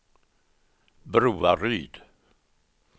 Broaryd